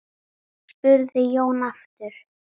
spurði Jón aftur.